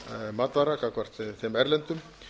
matvara gagnvart þeim erlendu